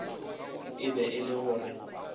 e be e le gore